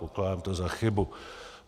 Pokládám to za chybu.